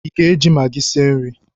ị ga-eji Magị sie nri?